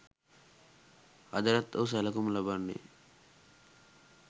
අදටත් ඔහු සැලකුම් ලබන්නේ